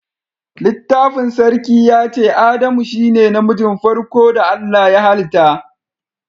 Littafin sarki ya ce"Adamu shine na mijin farko da Allah ya halita."